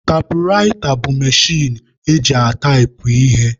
Taịpụraịta bụ mechin eji ataipụ ihe.